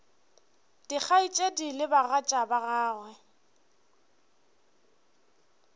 dikgaetšedi le bagatša ba gagwe